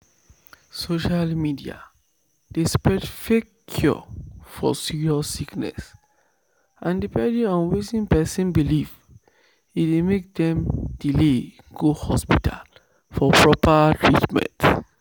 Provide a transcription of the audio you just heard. social media dey spread fake cure for serious sickness and depending on wetin person believe e dey make dem delay go hospital for proper treatment."